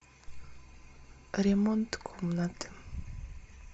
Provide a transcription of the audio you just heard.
ремонт комнаты